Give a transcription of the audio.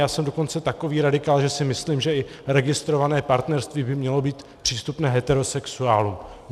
Já jsem dokonce takový radikál, že si myslím, že i registrované partnerství by mělo být přístupné heterosexuálům.